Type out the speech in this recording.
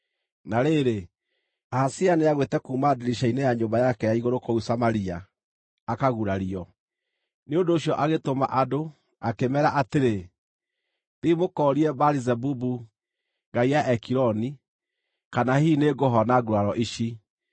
Na rĩrĩ, Ahazia nĩagwĩte kuuma ndirica-inĩ ya nyũmba yake ya igũrũ kũu Samaria, akagurario. Nĩ ũndũ ũcio agĩtũma andũ, akĩmeera atĩrĩ, “Thiĩi mũkoorie Baali-Zebubu, ngai ya Ekironi, kana hihi nĩngũhona nguraro ici.”